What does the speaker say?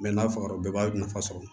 n'a fagara bɛɛ b'a nafa sɔrɔ